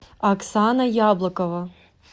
оксана яблокова